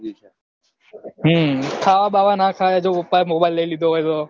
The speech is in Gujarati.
ખાવા બાવા ના ખાય જો પપ્પા એ mobile લઇ લીધો હોય તો